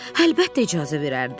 Əlbəttə icazə verərdi.